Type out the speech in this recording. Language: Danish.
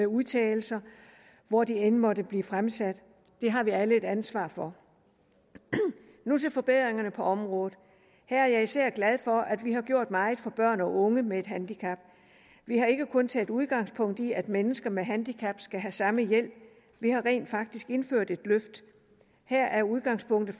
udtalelser hvor de end måtte blive fremsat det har vi alle et ansvar for nu til forbedringerne på området her er jeg især glad for at vi har gjort meget for børn og unge med et handicap vi har ikke kun taget udgangspunkt i at mennesker med handicap skal have samme hjælp vi har rent faktisk indført et løft her er udgangspunktet